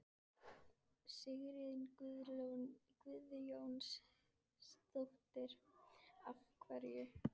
Sigríður Guðlaugsdóttir: Af hverju?